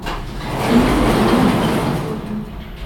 инна владимировна дубровина